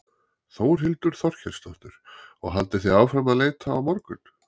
Þórhildur Þorkelsdóttir: Og haldið þið áfram að leita á morgun?